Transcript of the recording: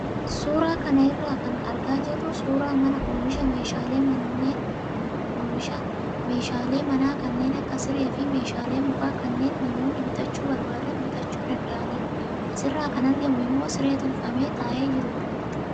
Suuraa kana irraa kan argaa jirru suuraa mana oomisha meeshaalee manaa kanneen akka siree fi meeshaalee mukaa kanneen namoonni bitachuu barbaadan bitachuu danda'anidha. Asirraa kan argamu immoo siree tolfamee taa'ee jirudha.